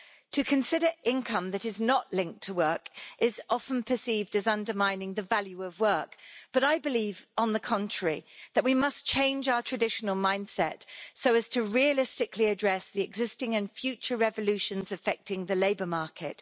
To consider income that is not linked to work is often perceived as undermining the value of work but I believe, on the contrary, that we must change our traditional mindset so as to realistically address the existing and future revolutions affecting the labour market.